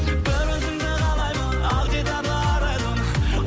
бір өзіңді қалаймын ақ дидарлы арайлым